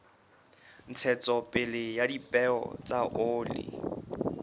ntshetsopele ya dipeo tsa oli